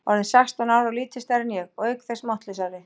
Orðinn sextán ára og lítið stærri en ég, og auk þess máttlausari.